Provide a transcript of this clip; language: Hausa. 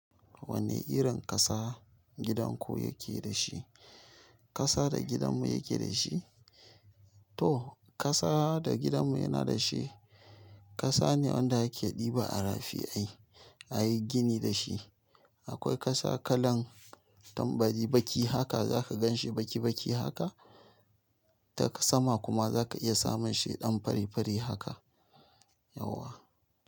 Wanne irin ƙasa gidan ku yake da shi? Ƙasa da gidanmu yake da shi? To ƙasa da gidanmu yana da shi ƙasa ne wanda ake ɗiba a rafi ai a yi gini da shi. Akwai ƙasa kalan tambari baki haka za ka gan shi baki baki haka. Ta sama kuma za ka iya samun shi ɗan fari fari haka. Yauwa.